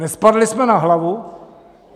Nespadli jsme na hlavu?